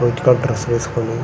white colour dress వేసుకుని--